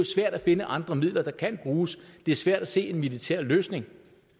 svært at finde andre midler der kan bruges det er svært at se en militær løsning